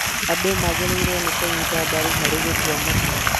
andũ magĩrĩirwo nĩ kũnyita mbaru harĩ gũtua matua